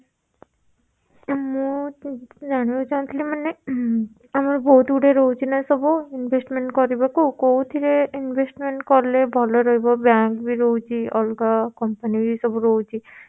ମୁଁ ଜାଣିବାକୁ ଚାହୁଁଥିଲି ମାନେ ଉହୁଁ ଆମର ବହୁତ ଗୁଡିଏ ରହୁଛି ନା ସବୁ investment କରିବାକୁ କୋଉଥିରେ investment କଲେ ଭଲ ରହିବ? bank ବି ରହୁଛି ଅଲଗା Company ବି ସବୁ ରହୁଛି